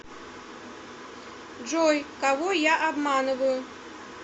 джой кого я обманываю